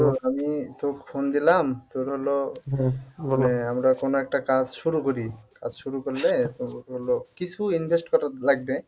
আমি তোকে phone দিলাম তোর হল বলে আমরা কোন একটা কাজ শুরু করি কাজ শুরু করলে তোর হল কিছু invest করা লাগবে.